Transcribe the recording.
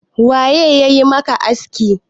waye ya yi maka askin?